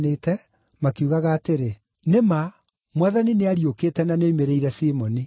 makiugaga atĩrĩ, “Nĩ ma! Mwathani nĩariũkĩte na nĩoimĩrĩire Simoni.”